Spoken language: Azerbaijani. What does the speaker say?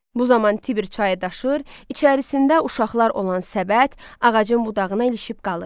Bu zaman Tiber çayı daşır, içərisində uşaqlar olan səbət ağacın budağına ilişib qalır.